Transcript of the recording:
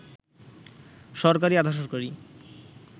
সরকারি, আধা-সরকারি